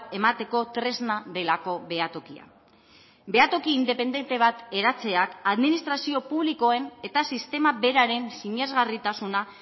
emateko tresna delako behatokia behatoki independente bat eratzeak administrazio publikoen eta sistema beraren sinesgarritasuna